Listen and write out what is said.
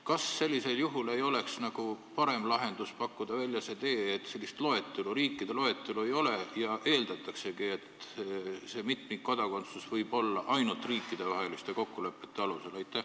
Kas sellisel juhul ei oleks parem lahendus pakkuda välja see tee, et säärast riikide loetelu ei ole ja eeldatakse, et mitmikkodakondsus võib olla ainult riikidevaheliste kokkulepete alusel?